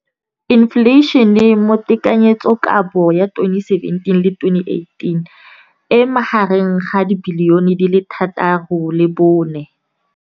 Infleišene, mme tekanyetsokabo ya 2017, 18, e magareng ga R6.4 bilione.